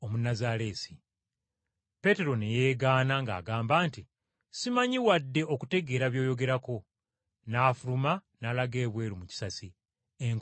Peetero ne yeegaana ng’agamba nti, “Simanyi wadde okutegeera by’oyogerako!” N’afuluma n’alaga ebweru mu kisasi, enkoko n’ekookolima.